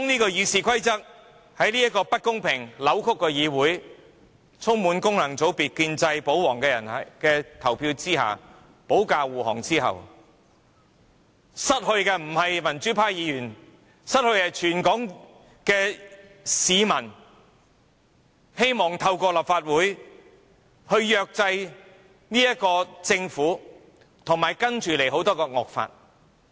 當《議事規則》在這不公平、扭曲的議會，經一眾功能界別、建制、保皇議員投票修訂，保駕護航後，損失的不是民主派的議員，而是全港希望透過立法會制約政府及接下來提交的眾多惡法的市民。